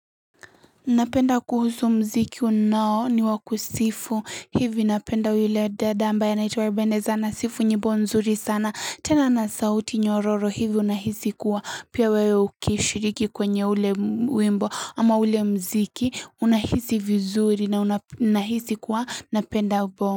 Napenda kuhusu mziki ambao ni wa kusifu hivi unapenda vile dada ambaye anaitwa Venesa anasifu, nyimbo nzuri sana tena na sauti nyororo hivi unahisi kuwa pia wewe ukishiriki kwenye ule wimbo ama ule mziki unahisi vizuri na unahisi kuwa napenda.